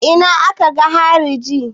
A ina ne aka ga hariji?